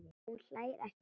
Hún hlær ekki lengur.